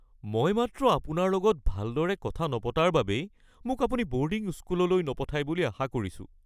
মই মাত্ৰ আপোনাৰ লগত ভালদৰে কথা নপতাৰ বাবেই মোক আপুনি বৰ্ডিং স্কুললৈ নপঠাই বুলি আশা কৰিছোঁ।(পুত্ৰ)